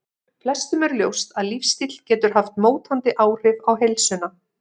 Flestum er ljóst að lífsstíll getur haft mótandi áhrif á heilsuna.